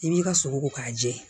I b'i ka sogo ko k'a jɛ